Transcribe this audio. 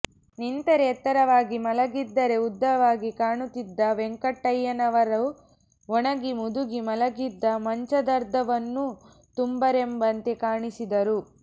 ನಿಂತರೆ ಎತ್ತರವಾಗಿ ಮಲಗಿದ್ದರೆ ಉದ್ದವಾಗಿ ಕಾಣುತ್ತಿದ್ದ ವೆಂಕಣ್ಣಯ್ಯನವರು ಒಣಗಿ ಮುದುಗಿ ಮಲಗಿದ್ದ ಮಂಚದರ್ಧವನ್ನೂ ತುಂಬರೆಂಬಂತೆ ಕಾಣಿಸಿದರು